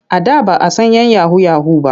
A da ba a san 'yan yahu-yahu ba.